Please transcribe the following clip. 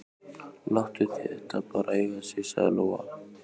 Láttu þetta bara eiga sig, sagði Lóa.